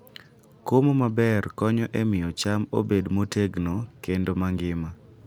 Komo maber konyo e miyo cham obed motegno kendo mangima.